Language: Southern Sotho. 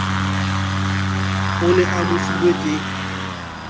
o ne a mofilwe ke